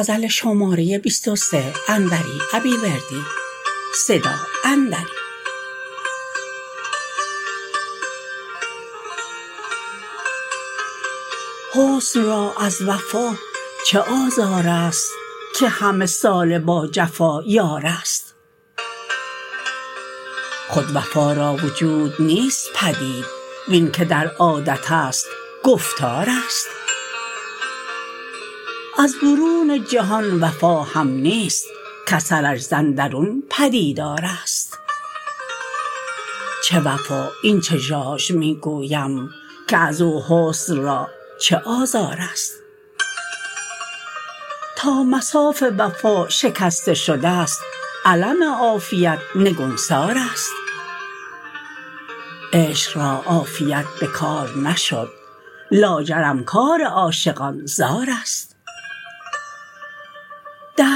حسن را از وفا چه آزارست که همه ساله با جفا یارست خود وفا را وجود نیست پدید وین که در عادتست گفتارست از برون جهان وفا هم نیست کاثرش ز اندرون پدیدارست چه وفا این چه ژاژ می گویم که ازو حسن را چه آزارست تا مصاف وفا شکسته شدست علم عافیت نگونسارست عشق را عافیت به کار نشد لاجرم کار عاشقان زارست